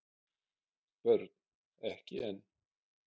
Börn: Ekki enn.